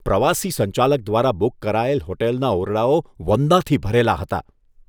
પ્રવાસી સંચાલક દ્વારા બુક કરાયેલ હોટલના ઓરડાઓ વંદાથી ભરેલા હતા.